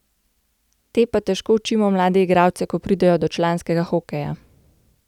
Te pa težko učimo mlade igralce, ko pridejo do članskega hokeja.